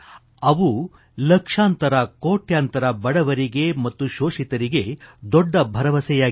ಅವು ಲಕ್ಷಾಂತರಕೋಟ್ಯಂತರ ಬಡವರಿಗೆ ಮತ್ತು ಶೋಷಿತರಿಗೆ ದೊಡ್ಡ ಭರವಸೆಯಾಗಿವೆ